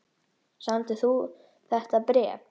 Samdir þú þetta bréf?